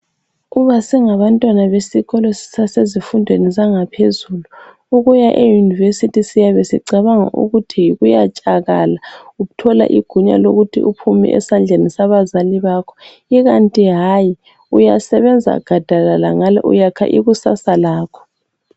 Uma singabantwana besikolo sisase zifundweni zaphezulu ukuya euniversity siyabe sicabanga ukuthi yikuyatshakala uthola igunya lokuthi uphume esandleni abazali bakho ikanti hayi uyasebenza gadalala ngale uyakha ikusasa lakho.